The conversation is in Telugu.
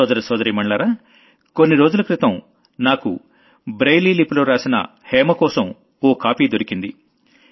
సోదర సోదరీమణులారా కొన్ని రోజుల క్రితం నాకు బ్రెయిలీ లిపిలో రాసిన హేమకోశం ఓ కాపీ దొరికింది